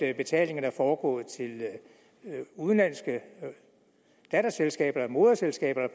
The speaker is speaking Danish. at betalingerne er foregået til udenlandske datterselskaber eller moderselskaber